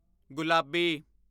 ਗੁਲਾਬੀ